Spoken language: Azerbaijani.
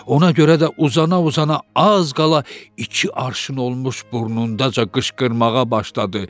Ona görə də uzana-uzana az qala iki arşın olmuş burnundaca qışqırmağa başladı.